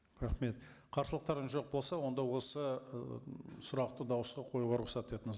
рахмет қарсылықтарыңыз жоқ болса онда осы ы сұрақты дауысқа қоюға рұқсат етіңіз